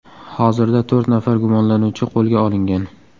Hozirda to‘rt nafar gumonlanuvchi qo‘lga olingan.